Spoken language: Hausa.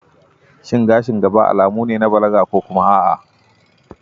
Shin gashin gaba alamu ne na balaga ko kuma a'a?